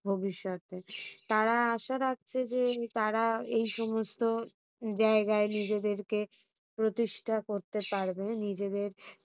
ভবিষ্যতে। তারা আশা রাখছে যে তারা এইসমস্ত জায়গায় নিজেদেরকে প্রতিষ্ঠা করতে পারবে নিজেদের ভবিষ্যতে।